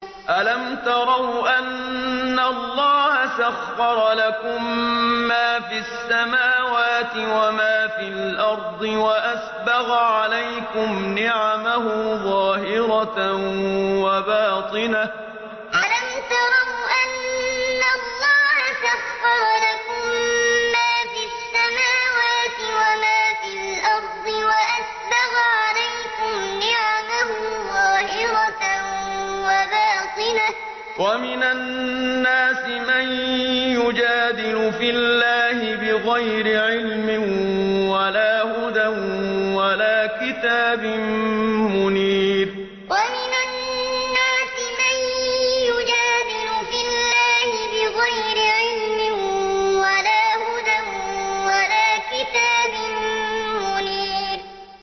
أَلَمْ تَرَوْا أَنَّ اللَّهَ سَخَّرَ لَكُم مَّا فِي السَّمَاوَاتِ وَمَا فِي الْأَرْضِ وَأَسْبَغَ عَلَيْكُمْ نِعَمَهُ ظَاهِرَةً وَبَاطِنَةً ۗ وَمِنَ النَّاسِ مَن يُجَادِلُ فِي اللَّهِ بِغَيْرِ عِلْمٍ وَلَا هُدًى وَلَا كِتَابٍ مُّنِيرٍ أَلَمْ تَرَوْا أَنَّ اللَّهَ سَخَّرَ لَكُم مَّا فِي السَّمَاوَاتِ وَمَا فِي الْأَرْضِ وَأَسْبَغَ عَلَيْكُمْ نِعَمَهُ ظَاهِرَةً وَبَاطِنَةً ۗ وَمِنَ النَّاسِ مَن يُجَادِلُ فِي اللَّهِ بِغَيْرِ عِلْمٍ وَلَا هُدًى وَلَا كِتَابٍ مُّنِيرٍ